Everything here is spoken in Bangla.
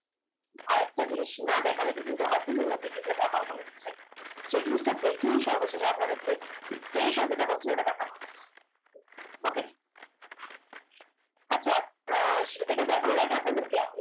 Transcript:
আরেক টা জিনিস না দেখালে যেটা অপূর্ণ থেকে যাবে আমার মনে হচ্ছে সেই জিনিস টা দেখিয়ে সর্বশেষ আপনাদের কে special যেটা বলছি ওই টা দেখাব okay আচ্ছা আহ এটা দেখানর আগে আপনাদের কে